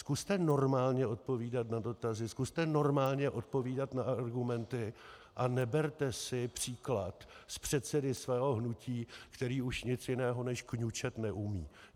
Zkuste normálně odpovídat na dotazy, zkuste normálně odpovídat na argumenty a neberte si příklad z předsedy svého hnutí, který už nic jiného než kňučet neumí.